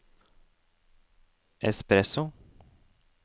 espresso